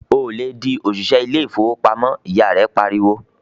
"Ò lè di òṣìṣẹ́ ilé ìfowópamọ́!", ìyá rẹ pariwo.